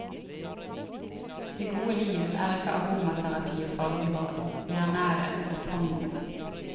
Det gode liv er ikke aromaterapi og fargebad, det er nærhet og tango.